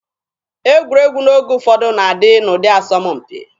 Egwuregwu n'oge ụfọdụ na-adị n'ụdị asọmpi.